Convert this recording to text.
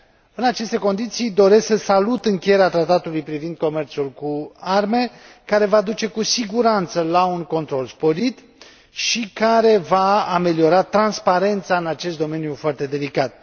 În aceste condiții, doresc să salut încheierea Tratatului privind comerțul cu arme, care va duce cu siguranță la un control sporit și care va ameliora transparența în acest domeniu foarte delicat.